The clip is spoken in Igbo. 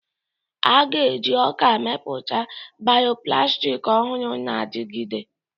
A ga-eji ọka mepụta bioplastics ọhụrụ na-adigide.